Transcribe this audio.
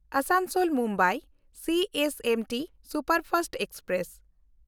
ᱟᱥᱟᱱᱥᱳᱞ–ᱢᱩᱢᱵᱟᱭ CSMT superfast express